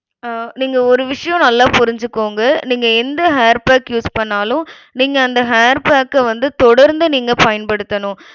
அஹ் நீங்க ஒரு விஷயம் நல்ல புரிஞ்சுக்கோங்க நீங்க எந்த hair pack use பண்ணாலும் நீங்க அந்த hair pack அ வந்து தொடர்ந்து நீங்க பயன்படுத்தணும்.